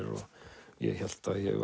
og ég hélt ég